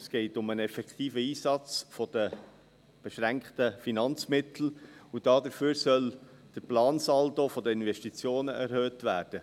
– Es geht um den effektiven Einsatz der beschränkten Finanzmittel, und dafür soll der Plansaldo der Investitionen erhöht werden.